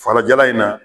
Farajɛla in na